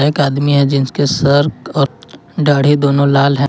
एक आदमी हैं जिसके सर और दाढ़ी दोनों लाल हैं।